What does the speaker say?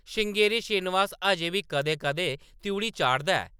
श्रृंगेरी श्रीनिवास अजें बी कदें-कदें त्रिउढ़ी चाढ़दा ऐ ।